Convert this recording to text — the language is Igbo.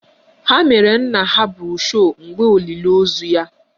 Ha mere nna ha broshu mgbe olili ozu ya